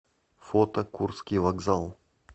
фото курский вокзал